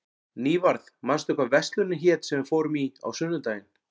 Nývarð, manstu hvað verslunin hét sem við fórum í á sunnudaginn?